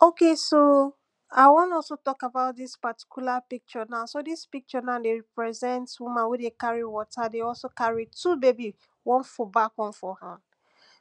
Okay so I wan also talk about dis particular picture now so dis picture now dey represent woman wey dey carry water dey also carry two baby, one for back one for hand.